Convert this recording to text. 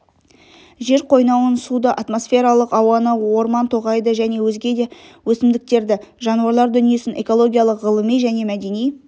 жер қойнауын суды атмосфералық ауаны орман-тоғайды және өзге де өсімдіктерді жануарлар дүниесін экологиялық ғылыми және мәдени